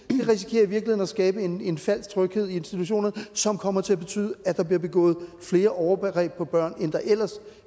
virkeligheden at skabe en en falsk tryghed i institutionerne som kommer til at betyde at der bliver begået flere overgreb på børn end der ellers